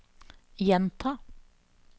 gjenta